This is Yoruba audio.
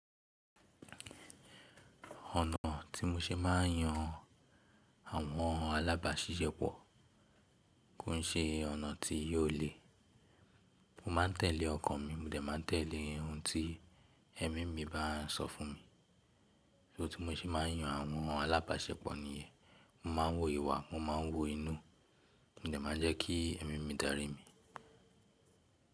Ọ̀nà tí mo ṣe máa ń yan àwọn alábàáṣiṣẹ́pọ̀ kó i ṣe ọ̀nà tí yò le. Mo máa ń tẹ̀lé ọkàn mi, mo dẹ̀ máa ń tẹ̀lé ohun tí ẹ̀mí mi bá ń sọ fún mi. Ṣó tí mo ṣe máa ń yan àwọn alábáṣepọ̀ nìyẹn, mo máa ń wo ìwà, mo máa ń wo inú, mo dẹ̀ máa ń jẹ́ kí ẹ̀mí mi darí mi.